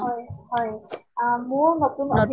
হয় হয় অহ মোৰ নতুন